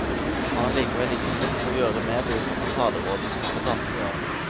Han er likevel innstilt på å gjøre mer bruk av fasaderådets kompetanse i år.